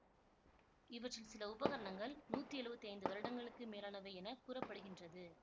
இவற்றில் சில உபகரணங்கள் நூத்தி எழுவத்தி ஐந்து வருடங்களுக்கு மேலானவை என கூற படுகின்றது